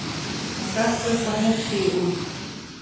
Hún hrökk upp og hnippti í Úlf.